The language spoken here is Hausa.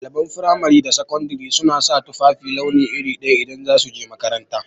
Ɗaliban fimari da sakandari suna sa tufafi launi iri daya idan za su je makaranta